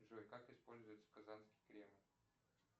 джой как используется казанский кремль